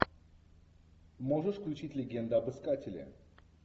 можешь включить легенда об искателе